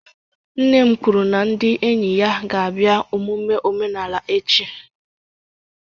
Nne m kwuru na ndi enyi ya ga-abia emume omenala echi